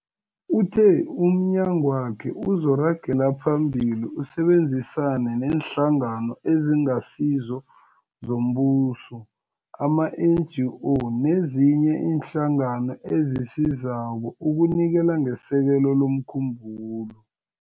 Uthe umnyagwakhe uzoragela phambili usebenzisane neeNhlangano eziNgasizo zoMbuso, ama-NGO, nezinye iinhlangano ezisizako ukunikela ngesekelo lomkhumbulo.